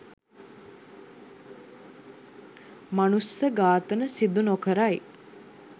මනුස්ස ඝාතන සිදු නොකරයි